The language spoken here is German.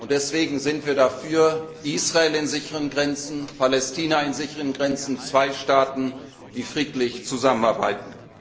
Deswegen sind wir für Israel in sicheren Grenzen und für Palästina in sicheren Grenzen zwei Staaten, die friedlich zusammenarbeiten.